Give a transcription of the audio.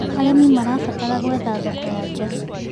Arĩmĩ marabatara gwetha thoko ya nja